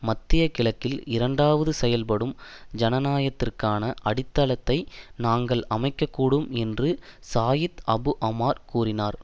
மத்திய கிழக்கில் இரண்டாவது செயல்படும் ஜனநாயகத்திற்கான அடித்தளத்தை நாங்கள் அமைக்க கூடும் என்று சாயிட் அபு அமார் கூறினார்